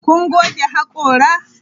Kun goge hakora?